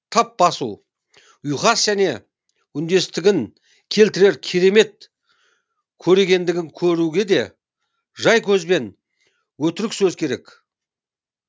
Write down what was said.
тап басу ұйқас және үндестігін келтірер керемет көрегендігін көруге де жай көз бен өтірік сөз керек